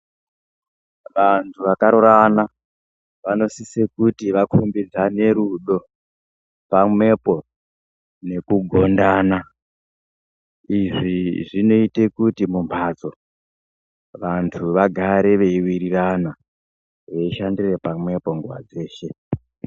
Vantu vakarorana vanosisa kuti vakombidzane rudo pamwepo nekugondana izvi zvinoita kuti mumbatso vantu vagare veiwirirana veishandira pamwepo nguwa dzeshe.